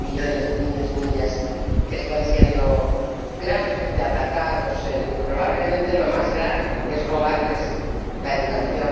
de los millones de niños y niñas que están siendo gravemente atacados en, probablemente, lo más grave, que es robarles la educación.